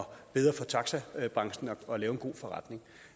bedre for taxabranchen at lave en god forretning